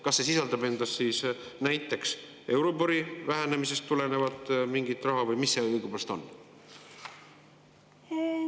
Kas see sisaldab endas siis näiteks euribori vähenemisest tulenevalt mingit raha või mis see õigupoolest on?